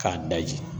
K'a daji